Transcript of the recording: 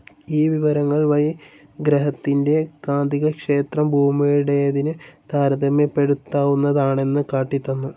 ഈ വിവരങ്ങൾ വഴി ഗ്രഹത്തിന്റെ കാന്തികക്ഷേത്രം ഭൂമിയുടേതിന്‌ താരതമ്യപ്പെടുത്താവുന്നതാണെന്ന് കാട്ടിത്തന്നു.